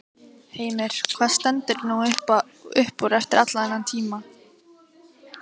Heimir: Hvað stendur nú upp úr eftir allan þennan tíma?